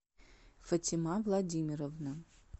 фатима владимировна